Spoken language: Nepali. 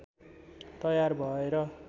तयार भएर